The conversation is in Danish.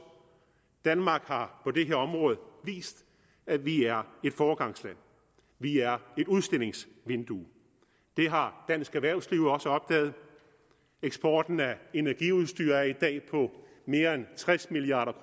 danmark har på det her område vist at vi er et foregangsland vi er et udstillingsvindue det har dansk erhvervsliv også opdaget eksporten af energiudstyr er i dag på mere end tres milliard